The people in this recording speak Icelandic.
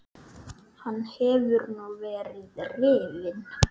Hann hefur nú verið rifinn.